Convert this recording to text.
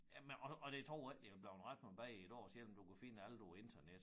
Jamen og og jeg tror ikke det blevet ret meget bedre i dag selvom du kan finde alt på æ internet